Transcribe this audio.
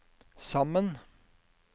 sammen